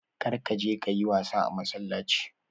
Kar ka je ka yi wasa a massalaci.